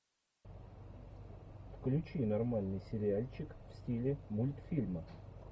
включи нормальный сериальчик в стиле мультфильма